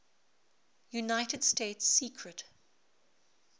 united states secret